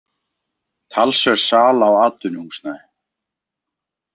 Talsverð sala á atvinnuhúsnæði